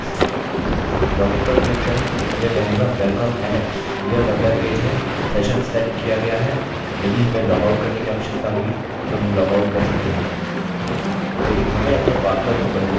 login पर click करें यह कहेगा welcome alex यह मेम्बर पेज है सेशन सेट किया गया है यदि हमें लॉगआउट करने की आवश्यकता हुई तो हम लॉगआउट कर सकते हैं लेकिन हमें अपने पासवर्ड को बदलने के लिए अन्य ऑप्शन की आवश्यकता है